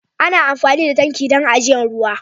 Ana amfani da tanki dan ajiyan ruwa.